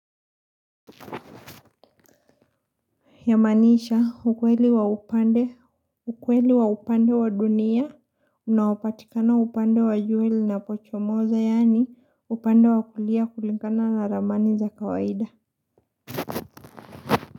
Yamanisha, ukweli wa upande, ukweli wa upande wa dunia, unaopatikana upande wa jua unapochomoza, yani upande wa kulia kulingana na ramani za kawaida.